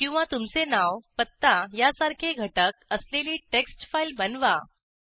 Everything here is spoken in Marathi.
किंवा तुमचे नाव पत्ता या सारखे घटक असलेली टेक्स्ट फाईल बनवा